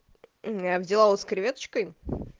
аа я взяла вот с креветочкой